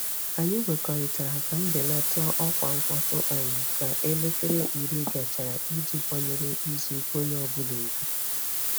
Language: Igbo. Anyị kwekọrịtara ka mbelata ọkwa mkpọtụ um ka elekere 10 gachara iji kwanyere izu ike onye ọ bụla ùgwù.